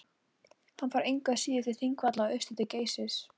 hann fór engu að síður til þingvalla og austur til geysis